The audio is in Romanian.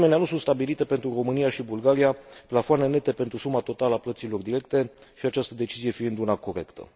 De asemenea, nu sunt stabilite pentru România și Bulgaria plafoane nete pentru suma totală a plăților directe, această decizie fiind una corectă.